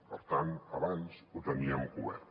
per tant abans ho teníem cobert